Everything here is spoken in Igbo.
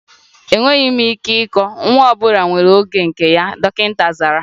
Enweghị m ike ịkọ, nwa ọ bụla nwere oge nke ya, dọkịta zara